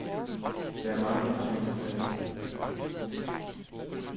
Der er mange hensyn at tage.